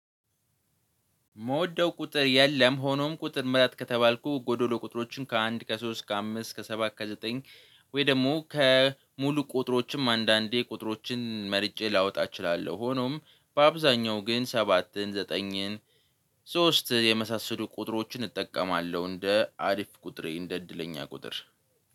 የምወደው ቁጥር የለም ሆኖም ቁጥር ምረጥ ከተባልኩ ጎዶሎ ቁጥሮችን ከአንድ ከሶስት ከአምስት ከሰባት ከዘጠኝ ወይ ደግሞ ከሙሉ ቁጥሮችም አንዳንዴ ቁጥሮችን መርጬ ላወጣ እችላለሁ። ሆኖም በአብዛኛው ግን ሰባትን ዘጠኝን ሶስት የመሳሰሉ ቁጥሮችን እጠቀማለሁ እንደ አሪፍ ቁጥሬ እንደ እድለኛ ቁጥር።